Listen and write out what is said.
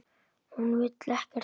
Hún vill ekkert barn.